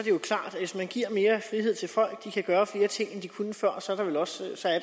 jo klart at hvis man giver mere frihed til folk kan gøre flere ting end de kunne før